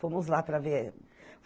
Fomos lá para ver.